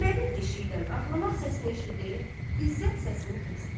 Əhmədin eşşəkdən ağlamaq səsini eşidib, İzzət səsini kəsdi.